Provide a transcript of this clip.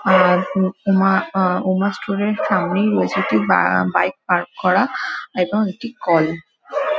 আ উম উমা আ উমার স্টুডেন্ট সামনেই রয়েছে একটি বা বাইক পার্ক করা এবং একটি কল ।